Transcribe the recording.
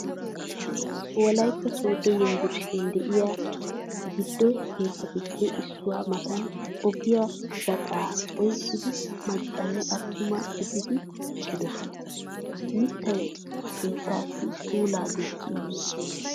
Wolaytta Sooddo Yunbburshshiyan de'es giido keettatuppe issuwaa matan ogiya gaxaa oyqqidi macca nne attuma gididi eqqidosona. Mittay keettaassi puulaa gujji immiis.